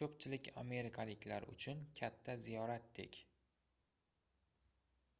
koʻpchilik amerikaliklar uchun katta ziyoratdek